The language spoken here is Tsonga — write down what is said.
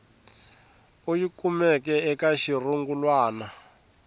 u yi kumeke eka xirungulwana